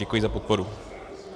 Děkuji za podporu.